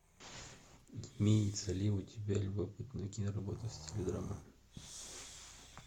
имеется ли у тебя любопытная киноработа в стиле драма